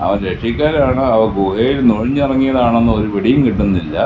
അവൻ രക്ഷിക്കാനാണോ അതോ ഗുഹേലു നുഴഞ്ഞിറങ്ങിയാതാണോന്ന് ഒരു പിടിയും കിട്ടുന്നില്ല.